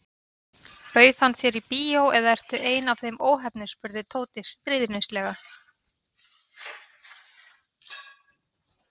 Bauð hann þér í bíó eða ertu ein af þeim óheppnu spurði Tóti stríðnislega.